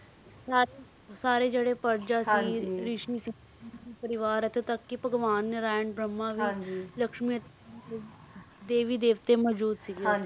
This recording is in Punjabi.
ਸਾਰੇ ਜੇਰੇ ਹਾਂਜੀ ਪਰਜਾ ਸੀ ਰਿਸ਼ੀ ਸੀ ਹਾਂਜੀ ਰਿਸ਼ੀ ਪਰਵਾਰ ਏਥੇ ਤਕ ਕੇ ਭਗਵਾਨ ਨਾਰਾਯਨ ਭਰਮਾ ਵੀ ਹਾਂਜੀ ਦੇਵੀ ਦੇਵ੍ਟੀ ਮਾਜੋਉਦ ਸੀਗੇ ਹਾਂਜੀ